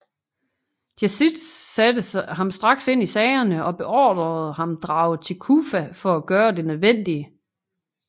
Yazid satte ham straks ind i sagerne og beordrede ham drage til Kufa for at gøre det nødvendige